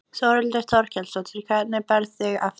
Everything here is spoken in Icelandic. Þórhildur Þorkelsdóttir: Hvernig berðu þig eftir þetta?